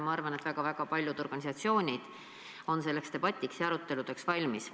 Ma arvan, et väga-väga paljud organisatsioonid on selleks debatiks ja aruteludeks valmis.